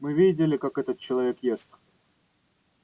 мы видели как этот человек ест